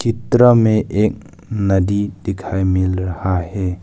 चित्र में एक नदी दिखाई मिल रहा है।